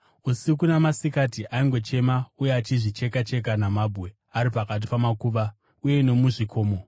Usiku namasikati aingochema uye achizvicheka-cheka namabwe ari pakati pamakuva uye nomuzvikomo.